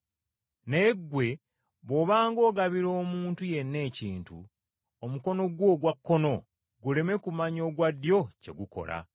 Naye ggwe bw’obanga ogabira omuntu yenna ekintu omukono gwo ogwa kkono guleme kumanya ogwa ddyo kye gukola.